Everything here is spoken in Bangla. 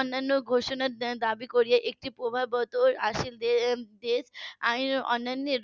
অন্যানো ঘোষণার দাবী করিয়ে একটি প্রভাব . আইন অন্যানের